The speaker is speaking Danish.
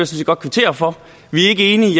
set godt kvittere for vi er ikke enige